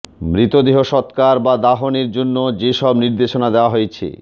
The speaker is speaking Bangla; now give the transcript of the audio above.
মৃতদেহ সৎকার বা দাফনের জন্য যেসব নির্দেশনা দেয়া হয়েছে